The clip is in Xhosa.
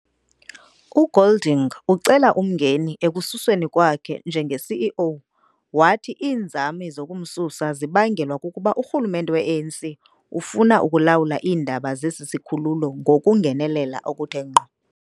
UGolding, ecela umngeni ekususweni kwakhe njenge-CEO, wathi iinzame zokumsusa zibangelwa kukuba urhulumente weANC ufuna ukulawula iindaba zesi sikhululo ngokungenelela okuthe ngqo.